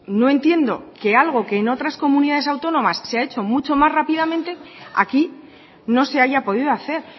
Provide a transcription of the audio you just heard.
no entiendo que algo que en otras comunidades autónomas se ha hecho mucho más rápidamente aquí no se haya podido hacer